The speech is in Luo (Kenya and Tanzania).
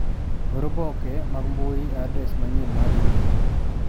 Or oboke mag mbui e adres manyien mar imel.